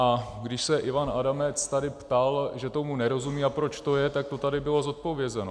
A když se Ivan Adamec tady ptal, že tomu nerozumí a proč to je, tak to tady bylo zodpovězeno.